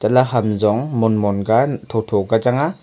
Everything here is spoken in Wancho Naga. la hamzong monmon ka tho tho ka chang a.